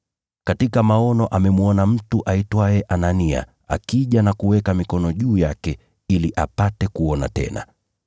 katika maono amemwona mtu aitwaye Anania akija na kuweka mikono juu yake ili apate kuona tena.”